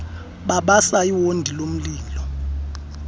babasa iwondi lomlilo